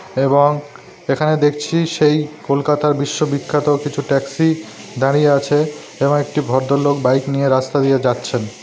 এবং এখানে দেখছি সেই কলকাতার বিশ্ব বিখ্যাত কিছু ট্যাক্সি দাঁড়িয়ে আছে এবং একটি ভদ্রলোক বাইক নিয়ে রাস্তা দিয়ে যাচ্ছেন।